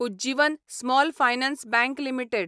Ujjivan small finance bank limited